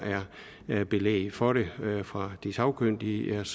er belæg for det fra de sagkyndiges